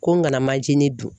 Ko n kana manjinin dun.